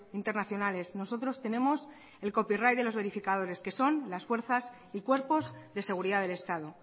internacionales nosotros tenemos el copyright de los verificadores que son las fuerzas y cuerpos de seguridad del estado